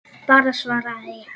Bara svaraði ég.